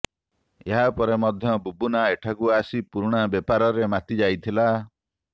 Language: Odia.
ଏହା ପରେ ମଧ୍ୟ ବୁବୁନା ଏଠାକୁ ଆସି ପୁରୁଣା ବେପାରରେ ମାତି ଯାଇଥିଲା